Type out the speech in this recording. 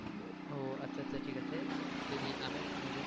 ও আচ্ছা আচ্ছা ঠিক আছে, যদি আমি একটা news এর কথা বলি,